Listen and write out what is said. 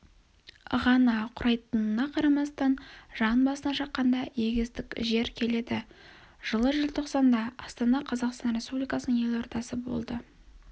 ғана құрайтынына қарамастан жан басына шаққанда егістік жер келеді жылы желтоқсанда астана қазақстан республикасының елордасы болды